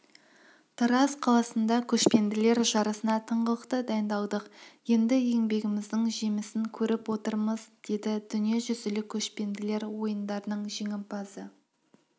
айта кетейік қазақ күресінен ел намысын спортшы қорғады нәтижесінде талғат шегенов әділет сейілханов дәулет пахриденов сұңғат